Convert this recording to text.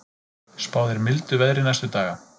Spáð er mildu veðri næstu daga